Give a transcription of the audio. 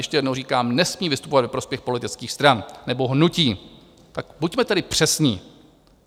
Ještě jednou říkám - nesmí vystupovat ve prospěch politických stran nebo hnutí, tak buďme tedy přesní.